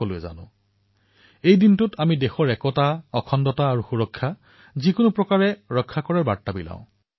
সেই দিনটোত আমি আমাৰ দেশৰ একতা অখণ্ডতা আৰু সুৰক্ষা যিকোনো মূল্যত ৰক্ষা কৰাৰ বাবে প্ৰতিশ্ৰুতিবদ্ধ হও